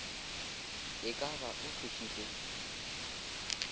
e ka ba o thušitšwe